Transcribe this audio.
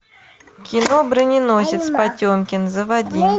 кино броненосец потемкин заводи